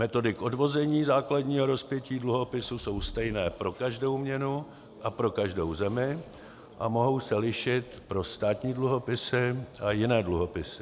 Metody k odvození základního rozpětí dluhopisu jsou stejné pro každou měnu a pro každou zemi a mohou se lišit pro státní dluhopisy a jiné dluhopisy.